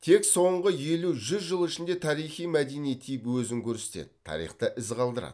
тек соңғы елу жүз жыл ішінде тарихи мәдени тип өзін көрсетеді тарихта із калдырады